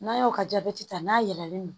N'a y'o ka jabɛti ta n'a yɛlɛlen don